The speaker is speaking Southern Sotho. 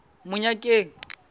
monyakeng